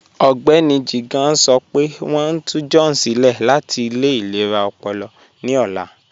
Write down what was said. Mr Jigan sọ́ pẹ̀ wọ́n n tù John silẹ̀ láti ilẹ̀ ilẹ̀ra ọ̀pọ̀lọ̀ ní ọ̀lá